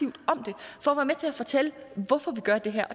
og at med til at fortælle hvorfor vi gør det her